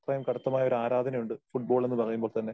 അത്രയും കടുത്തമായ ഒരു ആരാധന ഉണ്ട് ഫുട്ബോൾ എന്ന് പറയുമ്പോൾ തന്നെ.